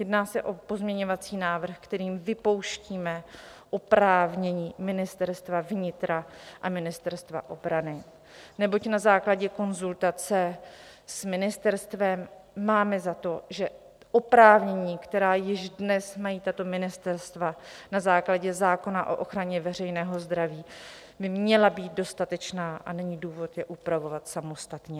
Jedná se o pozměňovací návrh, kterým vypouštíme oprávnění Ministerstva vnitra a Ministerstva obrany, neboť na základě konzultace s ministerstvem máme za to, že oprávnění, která již dnes mají tato ministerstva na základě zákona o ochraně veřejného zdraví, by měla být dostatečná a není důvod je upravovat samostatně.